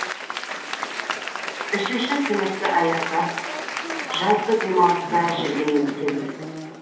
үшінші сыныпты аяқтап жазғы демалыста жүрген кезіміз